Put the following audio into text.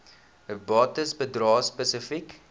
bates bedrae spesifiek